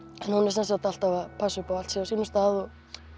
hún er alltaf að passa upp á að allt sé á sínum stað